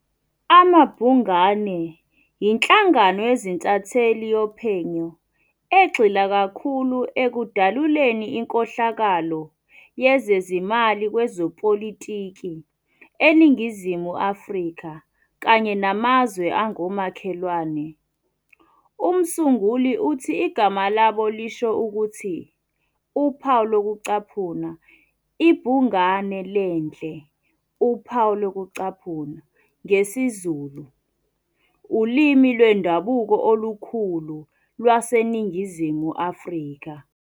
AmaBhungane yinhlangano yezintatheli yophenyo egxila kakhulu ekudaluleni inkohlakalo yezezimali kwezepolitiki eNingizimu Afrika kanye namazwe angomakhelwane. Umsunguli uthi igama labo lisho ukuthi "ibhungane lendle" ngesiZulu, ulimi lwendabuko olukhulu lwaseNingizimu Afrika.